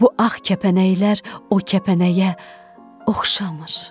Bu ağ kəpənəklər o kəpənəyə oxşamır.